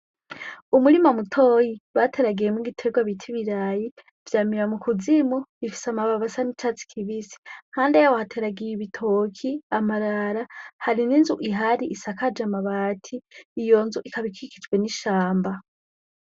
Umurima mutoyi bateragiyemwo igiterwa bita ibirayi vyamira mu kuzimu bifise amababi asa n'icatsi kibisi hande yaho hateragiye ibitoki amarara hari n'inzu ihari isakaje amabati iyo nzu ikaba ikikijwe n'ishamba.